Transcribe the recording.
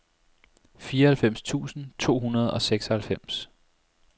fireoghalvfems tusind to hundrede og seksoghalvfems